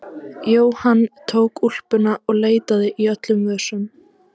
Jóhann tók úlpuna og leitaði í öllum vösum.